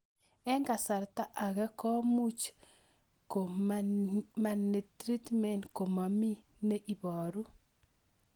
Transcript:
Eng' kasarta ag'e ko much ko mianareatment komamii ne ibaru